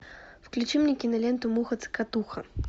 включи мне киноленту муха цокотуха